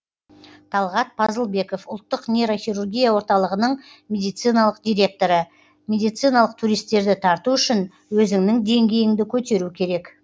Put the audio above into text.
талғат пазылбеков ұлттық нейрохирургия орталығының медициналық директоры медициналық туристерді тарту үшін өзіңнің деңгейіңді көтеру керек